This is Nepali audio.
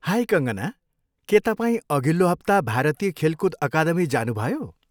हाई कङ्कना, के तपाईँ अघिल्लो हप्ता भारतीय खेलकुद अकादमी जानुभयो?